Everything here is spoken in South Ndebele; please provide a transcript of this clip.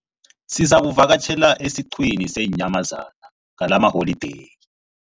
Sizakuvakatjhela esiqhiwini seenyamazana ngalamaholideyi.